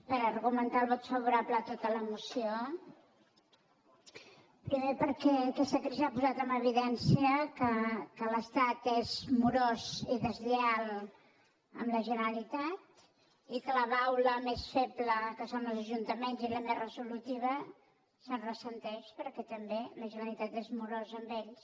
per argumentar el vot favorable a tota la moció primer perquè aquesta crisi ha posat en evi·dència que l’estat és morós i deslleial amb la genera·litat i que la baula més feble que són els ajuntaments i la més resolutiva se’n ressent perquè també la ge·neralitat és morosa amb ells